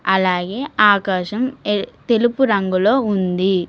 అలాగే ఆకాశం ఎర్ తెలుపు రంగు లో ఉంది.